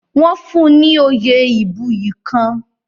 Wọ́n fún un ni oyè ìbuyì kan.